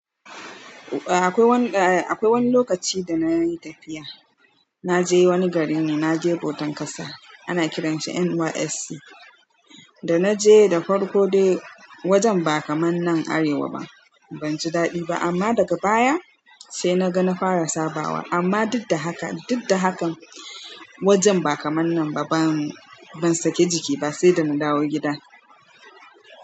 Eh akwai wani, akwai wani lokaci da na yi tafiya. Na je wani gari ne, na je bautan ƙasa. Ana kiranshi NYSC. Da na je da farko dai wajen ba kamar nan Arewa ba. Ban ji daɗi ba amma daga baya sai na ga na fara sabawa. Amma duk da haka, duk da haka wajen ba kamar nan ba ban, ban saki jiki ba sai da na dawo gida.